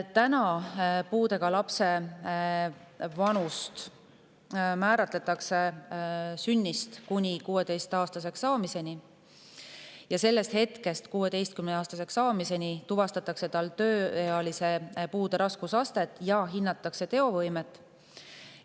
Täna määratletakse puudega lapsena sünnist kuni 16-aastaseks saamiseni ning 16-aastaseks saamise hetkest tuvastatakse tal tööealise puude raskusastet ja hinnatakse võimet.